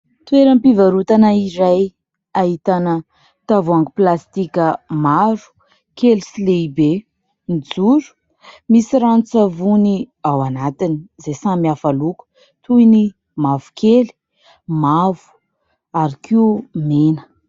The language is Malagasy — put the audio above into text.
Toeram-pivarotana iray ahitana tavoahangy plastika maro, kely sy lehibe mijoro misy ranon-tsavony ao anatiny, izay samy hafa loko toy ny mavokely, mavo ary koa mena.